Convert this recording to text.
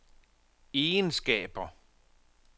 egenskaber